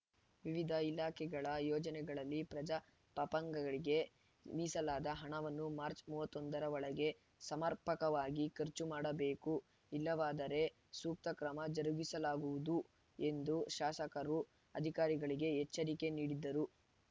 ವಿವಿಧ ಇಲಾಖೆಗಳ ಯೋಜನೆಗಳಲ್ಲಿ ಪಜಾ ಪಪಂಗಳಿಗೆ ಮೀಸಲಾದ ಹಣವನ್ನು ಮಾರ್ಚ್ ಮೂವತ್ತೊಂದರ ಒಳಗೆ ಸಮರ್ಪಕವಾಗಿ ಖರ್ಚು ಮಾಡಬೇಕು ಇಲ್ಲವಾದರೆ ಸೂಕ್ತ ಕ್ರಮ ಜರುಗಿಸಲಾಗುವುದು ಎಂದು ಶಾಸಕರು ಅಧಿಕಾರಿಗಳಿಗೆ ಎಚ್ಚರಿಕೆ ನೀಡಿದರು